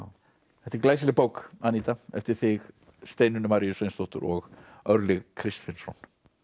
þetta er glæsileg bók Aníta eftir þig Steinunni Maríu Sveinsdóttur og Örlyg Kristfinnsson